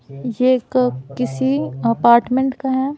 ये एक किसी अपार्टमेंट का है।